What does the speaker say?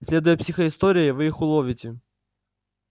следуя психоистории вы их уловите